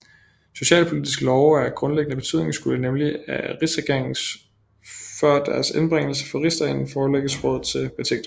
Socialpolitiske love af grundlæggende betydning skulle nemlig af rigsregeringen før deres indbringelse for rigsdagen forelægges rådet til betænkning